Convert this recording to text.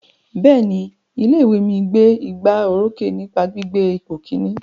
Bẹ́ẹ̀ni, ilé ìwé mi gbé igbá orókè nípa gbígbé ipò Kínní.